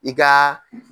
I ka